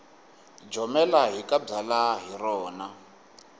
jomela hi ka byalwa hi rona